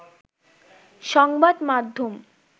সংবাদ মাধ্যম